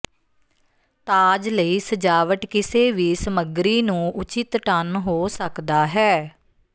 ਤਾਜ ਲਈ ਸਜਾਵਟ ਕਿਸੇ ਵੀ ਸਮੱਗਰੀ ਨੂੰ ਉਚਿਤ ਟਨ ਹੋ ਸਕਦਾ ਹੈ